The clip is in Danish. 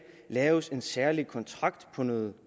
laves en særlig kontrakt om